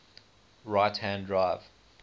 right hand drive